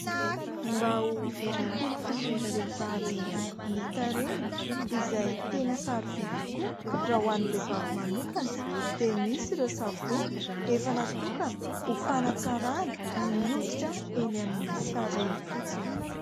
Mba ho fikolokoloan'ny vehivavy ny tarehiny, izay tena sarobidy tokoa raha ho an'ny vehivavy manokana, dia misy ireo savony efa natokana ho fanatsarana ny hoditra eny amin'ny tarehy fotsiny.